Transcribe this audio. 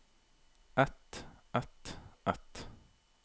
et et et